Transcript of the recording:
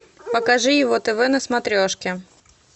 покажи его тв на смотрешке